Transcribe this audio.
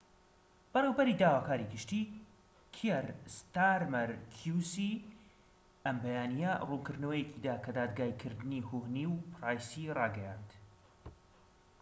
بەڕێوەبەری داواکاری گشتی کیەر ستارمەر کیو سی ئەم بەیانیە ڕوونکردنەوەیەکی دا کە دادگایی کردنی هوهنی و پرایسی ڕاگەیاند